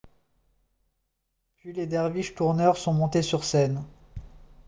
puis les derviches tourneurs sont montés sur scène